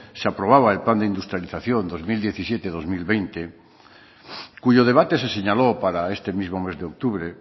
se aprobaba el plan de industrialización dos mil diecisiete dos mil veinte cuyo debate se señaló para este mismo mes de octubre